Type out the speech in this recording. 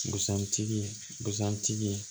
Busan tigi busan tigi